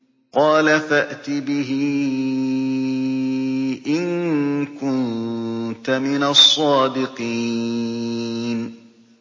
قَالَ فَأْتِ بِهِ إِن كُنتَ مِنَ الصَّادِقِينَ